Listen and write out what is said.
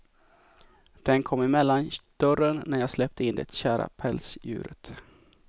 Den kom emellan dörren när jag släppte in det kära pälsdjuret.